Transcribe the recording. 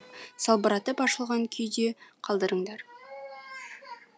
салбыратып ашылған күйде қалдырыңдар